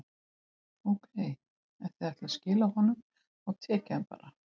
Ókei, ef þið ætlið að skila honum, þá tek ég hann bara.